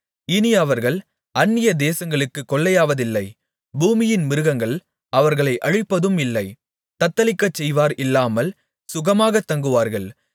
இனி அவர்கள் அந்நியதேசங்களுக்குக் கொள்ளையாவதில்லை பூமியின் மிருகங்கள் அவர்களை அழிப்பதும் இல்லை தத்தளிக்கச்செய்வார் இல்லாமல் சுகமாகத் தங்குவார்கள்